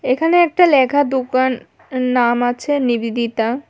এখানে একটা লেখা দোকান নাম আছে নিবেদিতা।